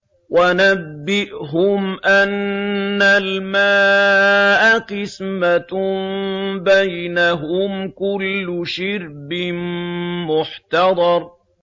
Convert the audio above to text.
وَنَبِّئْهُمْ أَنَّ الْمَاءَ قِسْمَةٌ بَيْنَهُمْ ۖ كُلُّ شِرْبٍ مُّحْتَضَرٌ